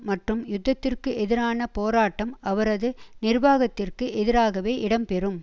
மற்றும் யுத்தத்திற்கு எதிரான போராட்டம் அவரது நிர்வாகத்திற்கு எதிராகவே இடம்பெறும்